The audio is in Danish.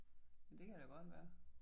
Men det kan da godt være